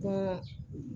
Ka